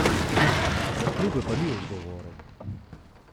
Za klube pa ni odgovoren.